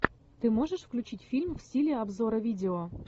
ты можешь включить фильм в стиле обзора видео